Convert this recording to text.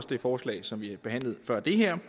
det forslag som vi behandlede før det her